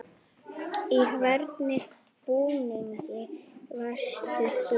Í hvernig búningi varst þú?